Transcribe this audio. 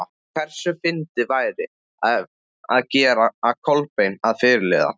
Hversu fyndið væri það að gera Kolbein að fyrirliða?